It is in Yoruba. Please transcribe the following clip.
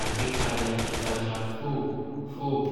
àgbékalẹ̀ ìtajà fob fob